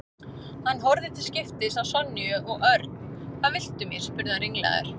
Hann horfði til skiptis á Sonju og Örn. Hvað viltu mér? spurði hann ringlaður.